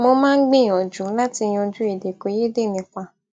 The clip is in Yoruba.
mo máa ń gbìyànjú láti yanjú èdèkòyédè nípa